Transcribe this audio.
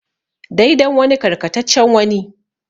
Dai dan wani karkataccen wani.